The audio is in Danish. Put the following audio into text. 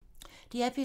DR P3